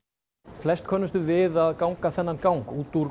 flest könnumst við að ganga þennan gang út úr